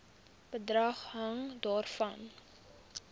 bedrag hang daarvan